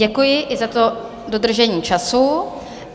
Děkuji, i za to dodržení času.